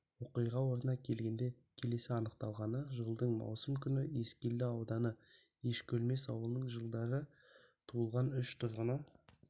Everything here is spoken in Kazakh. оқиға орнына келгенде келесі анықталғаны жылдың маусым күні ескелді ауданы ешкөлмес ауылының жылдары туылған үш тұрғыны